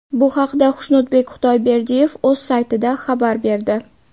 Bu haqda Xushnudbek Xudoyberdiyev o‘z saytida xabar berdi .